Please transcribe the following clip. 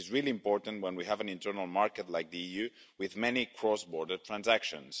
This is really important when we have an internal market like the EU with many cross border transactions.